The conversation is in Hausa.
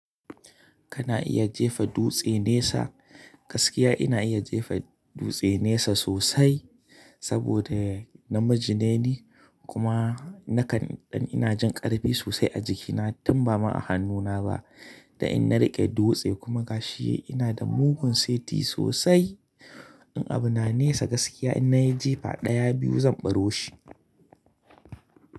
Kana iya jefa dutse nesa, gaskiya ina iya jefa dutse nesa sosai saboda namijine ni kuma nakan in ina jin ƙarfi sosai a jikina tun ba ma a hannuna ba. Dan in na riƙe dutse kuma gashi ina da mugun seti sosai. In abu na nesa gaskiya in nayi jefa ɗaya, biyu zan ɓaro shi.